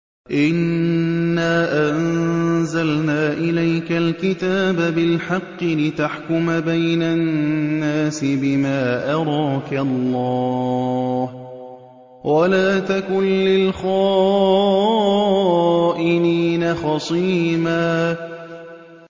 إِنَّا أَنزَلْنَا إِلَيْكَ الْكِتَابَ بِالْحَقِّ لِتَحْكُمَ بَيْنَ النَّاسِ بِمَا أَرَاكَ اللَّهُ ۚ وَلَا تَكُن لِّلْخَائِنِينَ خَصِيمًا